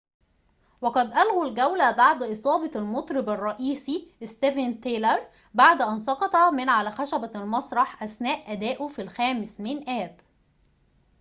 وقد الغوا الجولة بعد إصابة المطرب الرئيسي ستيفن تايلر بعد أن سقط من على خشبة المسرح أثناء أدائه في الخامس من آب